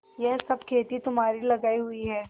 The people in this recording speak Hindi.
यह सब खेती तुम्हारी लगायी हुई है